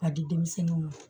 K'a di denmisɛnninw ma